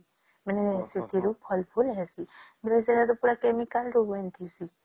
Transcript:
ମାନେ ସେଥିରୁ ଫଳ ଫୁଲ ହେଥି ମୁଇ ଭାବେ ସେଟା ପୁରା chemical ରୁ ଏମିତି ହେଇସି